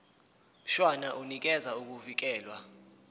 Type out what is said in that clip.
mshwana unikeza ukuvikelwa